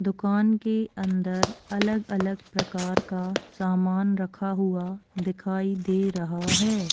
दुकान के अंदर अलग-अलग प्रकार का सामान रखा हुआ दिखाई दे रहा है--